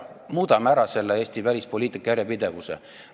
Muudame selle Eesti välispoliitika järjepidevuse ära.